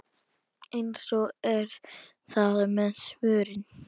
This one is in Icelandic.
Eins er það með svörin.